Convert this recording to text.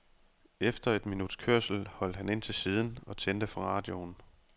Efter et minuts kørsel holdt han ind til siden og tændte for radioen.